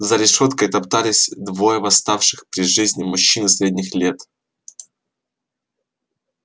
за решёткой топтались двое восставших при жизни мужчины средних лет